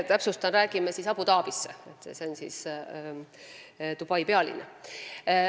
Täpsustan, et me räägime esinduse avamisest Abu Dhabis, see on Dubai pealinn.